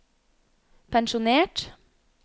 pensjonert